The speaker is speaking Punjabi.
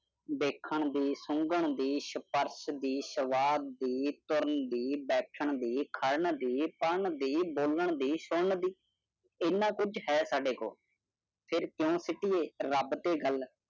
ਦੇਖਣ ਦੀ ਸੁੰਗਣ ਦੀ ਸਪਰਸ਼ ਦੀ ਸਵਾਦ ਦੀ ਤੁਰਨ ਦੀ ਬੈਠਣ ਦੀ ਕੱਢਣ ਦੀ ਪੜਨ ਦੀ ਬੋਲਣ ਦੀ ਸੁਣਨ ਦੀ ਇੰਨਾ ਕੁਛ ਹੈ ਸਾਡੇ ਕੋਲ ਫਿਰ ਕ੍ਯੂਂ ਸੋਟੀਐ ਰਬ ਤੇ ਗੱਲ